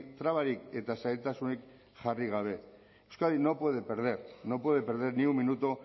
trabarik eta zailtasunik jarri gabe euskadi no puede perder no puede perder ni un minuto